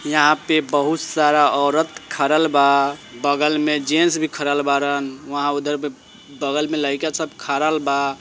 यहाँ पे बहुत सारा औरत खडल बा बगल मे जेंट्स भी खडल बाड़न। वहाँ उधर पे बगल मे लइका सब खडल बा ।